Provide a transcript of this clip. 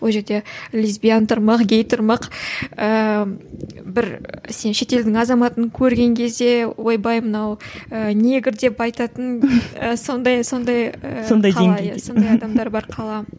ол жерде де лесбиян тұрмақ гей тұрмақ ііі бір сен шетелдің азаматын көрген кезде ойбай мынау ііі негр деп айтатын сондай сондай сондай адамдары бар қала